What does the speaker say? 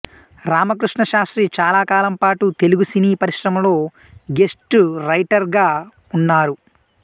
రామకృష్ణ శాస్త్రి చాలాకాలంపాటు తెలుగు సినీ పరిశ్రమలో ఘోస్ట్ రైటర్గా ఉన్నారు